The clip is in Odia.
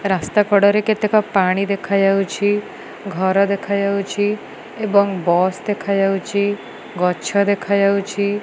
ରାସ୍ତା କଡ଼ରେ କେତେକ ପାଣି ଦେଖାଯାଉଛି ଘର ଦେଖାଯାଉଛି ଏବଂ ବସ୍ ଦେଖାଯାଉଛି ଗଛ ଦେଖାଯାଉଛି।